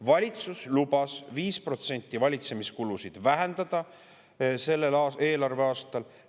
Valitsus lubas 5% valitsemiskulusid vähendada sellel eelarveaastal.